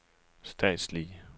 statslige